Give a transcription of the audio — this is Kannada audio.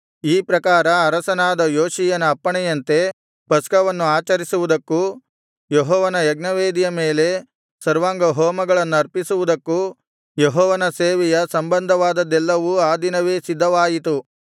ಈ ಪ್ರಕಾರ ಅರಸನಾದ ಯೋಷೀಯನ ಅಪ್ಪಣೆಯಂತೆ ಪಸ್ಕವನ್ನು ಆಚರಿಸುವುದಕ್ಕೂ ಯೆಹೋವನ ಯಜ್ಞವೇದಿಯ ಮೇಲೆ ಸರ್ವಾಂಗಹೋಮಗಳನ್ನರ್ಪಿಸುವುದಕ್ಕೂ ಯೆಹೋವನ ಸೇವೆಯ ಸಂಬಂಧವಾದದ್ದೆಲ್ಲವೂ ಆ ದಿನವೇ ಸಿದ್ಧವಾಯಿತು